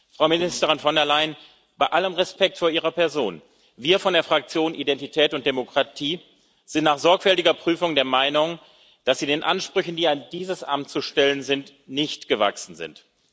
Frau Ministerin von der Leyen, bei allem Respekt vor Ihrer Person, wir von der Fraktion Identität und Demokratie sind nach sorgfältiger Prüfung der Meinung, dass Sie den Ansprüchen, die an dieses Amt zu stellen sind, nicht gewachsen sind.